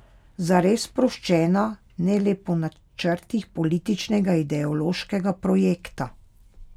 Zares sproščena, ne le po načrtih političnega ideološkega projekta.